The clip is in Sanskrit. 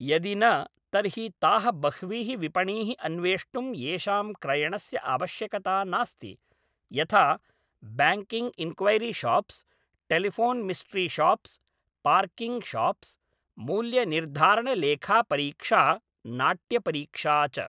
यदि न, तर्हि ताः बह्वीः विपणीः अन्वेष्टुम् येषां क्रयणस्य आवश्यकता नास्ति, यथा ब्याङ्किङ्ग् इन्क्वैरिशाप्स्, टेलिफोन्मिस्ट्रिशाप्स्, पार्किङ्गशाप्स्, मूल्यनिर्धारणलेखापरीक्षा, नाट्यपरीक्षा च।